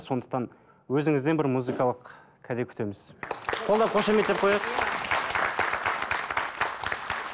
сондықтан өзіңізден бір музыкалық кәде күтеміз қолдап көшеметтеп қояйық